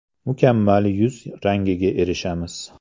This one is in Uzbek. Mukammal yuz rangiga erishamiz.